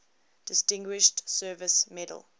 distinguished service medal